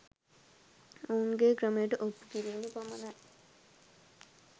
ඔවුන්ගේ ක්‍රමයට ඔප්පු කිරීම පමණයි